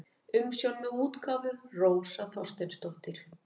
Umsjón með útgáfu: Rósa Þorsteinsdóttir.